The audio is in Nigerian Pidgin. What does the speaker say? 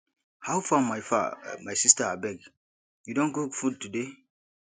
how far my far my sista abeg you don cook food today